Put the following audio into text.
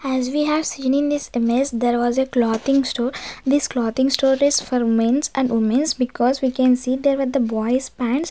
as we have seen in this image there was a clothing store this clothing store is for mens and womens because we can see there were the boys pants.